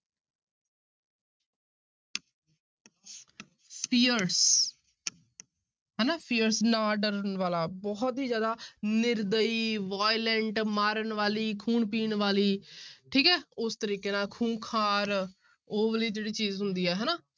fierce ਹਨਾ fierce ਨਾ ਡਰਨ ਵਾਲਾ ਬਹੁਤ ਹੀ ਜ਼ਿਆਦਾ ਨਿਰਦਈ violent ਮਾਰਨ ਵਾਲੀ, ਖੂਨ ਪੀਣ ਵਾਲੀ ਠੀਕ ਹੈ ਉਸ ਤਰੀਕੇ ਨਾਲ ਖ਼ੁੰਖਾਰ, ਉਹ ਵਾਲੀ ਜਿਹੜੀ ਚੀਜ਼ ਹੁੰਦੀ ਹੈ ਹਨਾ।